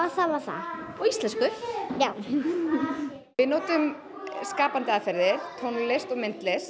það var það og íslensku já við notum skapandi aðferðir tónlist og myndlist